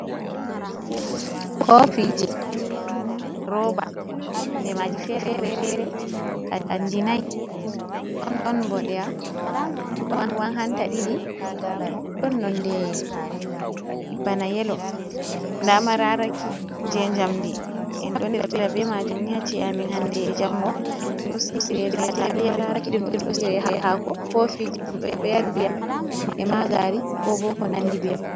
Koofiji roba. Nonde maaji fere-fere, kanji nayi. Ɗon boɗewa, ɗon ruwan hanta ɗiɗi, ɗon nonde bana yelo. Ndaa mararaki je jamdi. En ɗo naftira be maajum haa cie’amin handee e jango. Mararaki hako kofiji ɗum ɗo yarira ndiyam e maa gaari ko bo ko nandi beman.